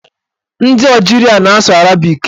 Ndị Ọjiria na-asụ arabik.